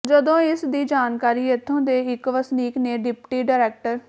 ਜਦੋਂ ਇਸ ਦੀ ਜਾਣਕਾਰੀ ਇੱਥੋਂ ਦੇ ਇੱਕ ਵਸਨੀਕ ਨੇ ਡਿਪਟੀ ਡਾਇਰੈਕਟ